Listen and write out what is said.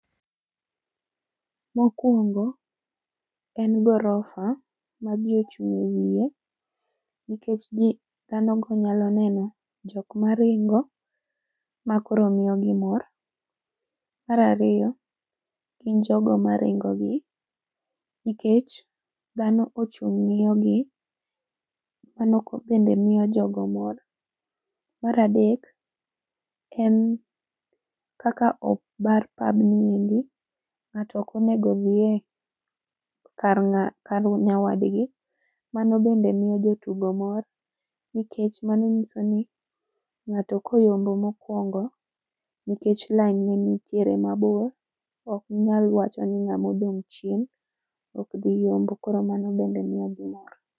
Mokwongo, en gorofa ma jii ochung' e wiye, nikech jii dhano go nyalo neno jok maringo, ma koro miyogi mor. Mar ariyo, gin jogo maringo gi, nikech dhano ochung' ng'iyogi, mano ko bende miyo jogo mor. Mar adek, en kaka obar pabni endi, ng'ato ok onego odhiye kar ng'ato kar nyawadgi, mano bende miyo jotugo mor, nikech mano nyiso ni, ng'ato koyombo mokuongo nikech lain ne nitiere mabor, ok ginyal wacho ni ng'amo odong' chien, ok dhi yombo koro mano bende miyo gi mor